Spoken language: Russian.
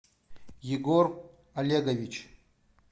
егор олегович